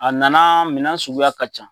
A nana minɛn suguya ka ca